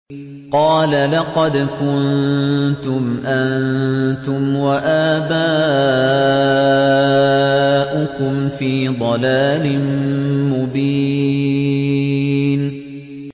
قَالَ لَقَدْ كُنتُمْ أَنتُمْ وَآبَاؤُكُمْ فِي ضَلَالٍ مُّبِينٍ